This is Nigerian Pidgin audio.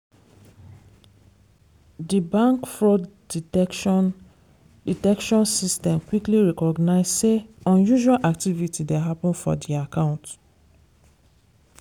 di bank fraud detection detection system quickly recognise say unusual activity dey happen for di account.